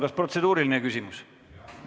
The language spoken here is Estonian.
Kas protseduuriline küsimus?